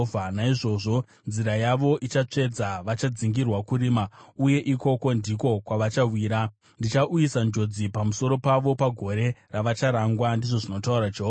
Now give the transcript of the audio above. “Naizvozvo nzira yavo ichatsvedza; vachadzingirwa kurima uye ikoko ndiko kwavachawira. Ndichauyisa njodzi pamusoro pavo mugore ravacharangwa,” ndizvo zvinotaura Jehovha.